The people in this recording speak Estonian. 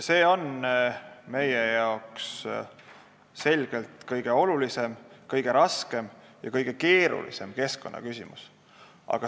See on selgelt meie kõige olulisem, kõige raskem ja kõige keerulisem keskkonnaküsimus.